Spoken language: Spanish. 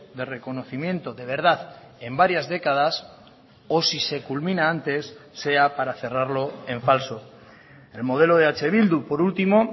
de reconocimiento de verdad en varias décadas o si se culmina antes sea para cerrarlo en falso el modelo de eh bildu por último